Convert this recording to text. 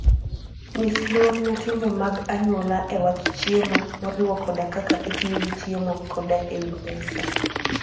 Nyis luor ne timbe mag anyuola e wach chiemo, moriwo koda kaka itiyo gi chiemo koda e wi mesa.